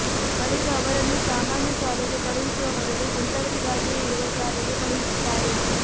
ಬಳಿಕ ಅವರನ್ನು ಸಾಮಾನ್ಯ ಶಾಲೆಗೆ ಕಳುಹಿಸುವ ಬದಲು ಇಂಥವರಿಗಾಗಿಯೇ ಇರುವ ಶಾಲೆಗೆ ಕಳುಹಿಸುತ್ತಾರೆ